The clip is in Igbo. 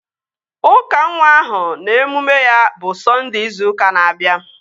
Ụka nwa ahụ na emume ya bụ Sọnde ịzu ụka na-abịa